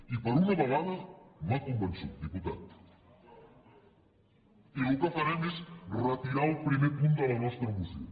i per una vegada m’ha convençut diputat farem és retirar el primer punt de la nostra moció